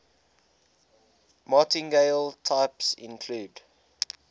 martingale types include